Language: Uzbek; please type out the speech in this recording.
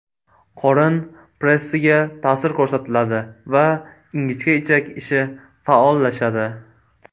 Qorin pressiga ta’sir ko‘rsatiladi va ingichka ichak ishi faollashadi.